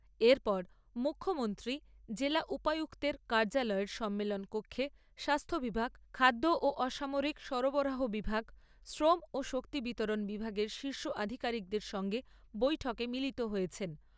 এর পর মুখ্যমন্ত্রী জেলা উপযুক্তের কার্য্যালয়ের সম্মেলন কক্ষে স্বাস্থ্য বিভাগ, খাদ্য ও অসামরিক সরবরাহ বিভাগ, শ্রম ও শক্তি বিতরণ বিভাগের শীর্ষ আধিকারিকদের সঙ্গে বৈঠকে মিলিত হয়েছেন।